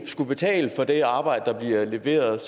skulle betale for det arbejde der bliver leveret